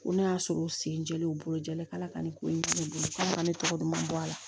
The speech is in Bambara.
Ko n'a y'a sɔrɔ u sen jɛlen u bolo jalen k'ala ka nin ko in kɛ ne bolo k'ale ka ne tɔgɔ duman bɔ a la